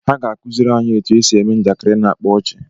Ha ga-akụziri anyị otú e si eme njakịrị na-akpa ọchị.